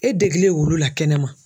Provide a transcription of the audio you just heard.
E degelen olu la kɛnɛma.